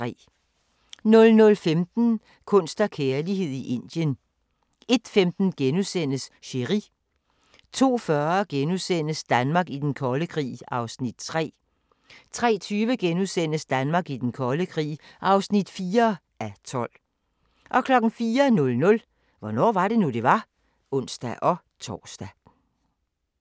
00:15: Kunst og kærlighed i Indien 01:15: Chéri * 02:40: Danmark i den kolde krig (3:12)* 03:20: Danmark i den kolde krig (4:12)* 04:00: Hvornår var det nu, det var? (ons-tor)